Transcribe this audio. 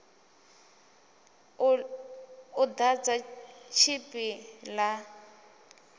u ḓadza tshipi ḓa b